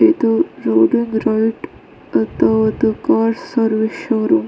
ಇದು ರೋಡಿನ್ ಗಿರಿವಿಟ್ ಅದು ಅದು ಕಾರ್ ಸರ್ವಿಸ್ ಶೋರೂಮ್ .